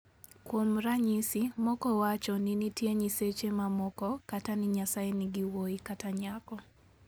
Kuom ranyisi, moko wacho ni nitie nyiseche mamoko, kata ni Nyasaye nigi wuowi kata nyako.